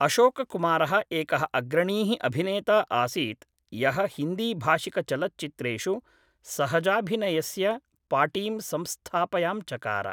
अशोककुमारः एकः अग्रणी: अभिनेता आसीत् यः हिन्दीभाषिकचलच्चित्रेषु सहजाभिनयस्य पाटीं संस्थापयाञ्चकार